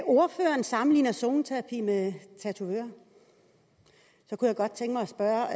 ordføreren sammenligner zoneterapi med tatoveringer jeg kunne godt tænke mig at spørge